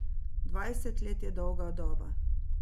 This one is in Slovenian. Dvajset let je dolga doba.